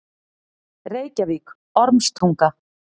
Reykjavík: Ormstunga.